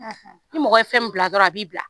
; Ni mɔgɔ ye fɛn min bila dɔrɔn a b'i bila